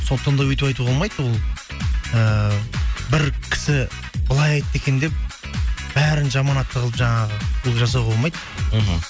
сондықтан да өйтіп айтуға болмайды ол ііі бір кісі былай айтты екен деп бәрін жаман атты қылып жаңағы олай жасауға болмайды мхм